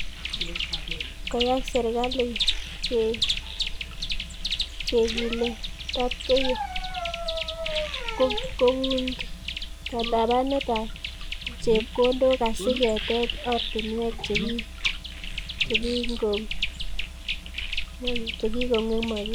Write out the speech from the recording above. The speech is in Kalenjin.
Koyai serikali kegiletabgeio kobunkatapanetab chepkondook asi keteech oratinweek chekikong'emokis